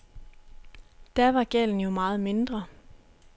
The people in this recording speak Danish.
Da var gælden jo meget mindre.